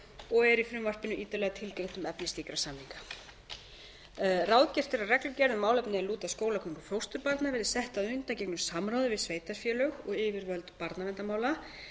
og er í frumvarpinu ítarlega tilgreint um efni slíkra samninga ráðgert er að reglugerð um málefni er lúta að skólagöngu fósturbarna verði sett að undangengnu samráði við sveitarfélög og yfirvöld barnaverndarmála